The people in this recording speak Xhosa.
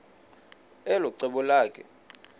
elo cebo lakhe